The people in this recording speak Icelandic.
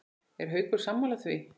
Er Haukur sammála því?